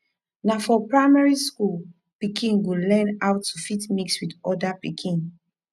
na for primary school pikin go learn how to fit mix with oda pikin